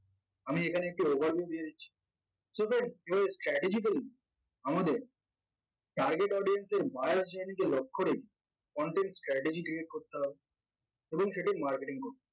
আমি এখানে একটি overview দিয়ে দিচ্ছি so guys strategically আমাদের target audience এর লক্ষ্য রেখে content strategy create করতে হবে এবং সেটার marketing করতে